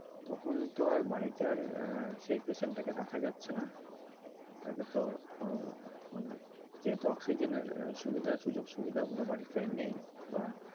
তখন তো আর বাড়িতে সেই paitent টা কে বাড়িতে রাখা যাচ্ছে না তাকে তো যেহেতু oxygen এর সুবিধা সুযোগ-সুবিধাগুলো বাড়িতে নেই